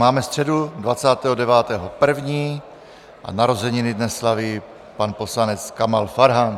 Máme středu 29. 1. a narozeniny dnes slaví pan poslanec Kamal Farhan.